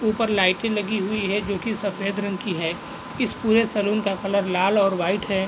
ऊपर लाइटें लगी हुई है जो की सफ़ेद रंग की है इस पूरे शोरूम का कलर लाल और वाइट है।